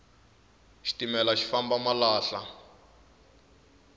xitimela xi famba malahla